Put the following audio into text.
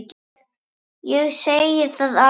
Ég segi það alveg satt.